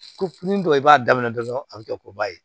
Ko ni dɔ i b'a daminɛ dɔrɔn a bɛ kɛ koba ye